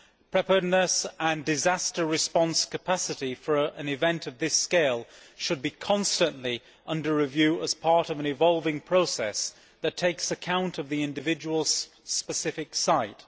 Preparedness and disaster response capacity for an event of this scale should be constantly under review as part of an evolving process that takes account of the individual specific site.